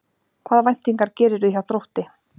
Hvaða væntingar gerirðu hjá Þrótti?